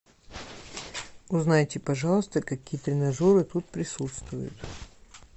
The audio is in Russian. узнайте пожалуйста какие тренажеры тут присутствуют